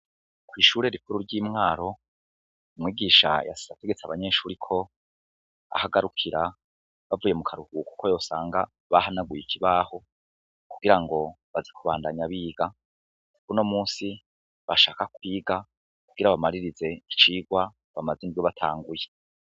Kw'ishure rikuru ry'imwaro umwigisha yasiategetse abanyenshuriko ahagarukira bavuye mu karuhu, kuko yosanga bahanaguye ikibaho kugira ngo bazikubandanya biga kukuno musi bashaka kwiga kugira bamaririze icirwa bamaze ingwibatanguye.